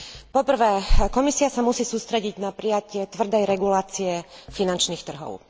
Po prvé, Komisia sa musí sústrediť na prijatie tvrdej regulácie finančných trhov.